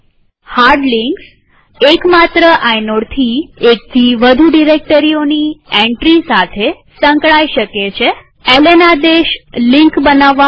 hard links એક માત્ર આઇનોડથી એકથી વધુ ડિરેક્ટરીઓની એન્ટ્રી સાથે સંકળાય શકે છેln આદેશ લિંક બનાવવા માટે છે